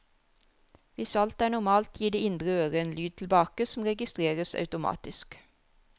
Hvis alt er normalt, gir det indre øre en lyd tilbake som registreres automatisk.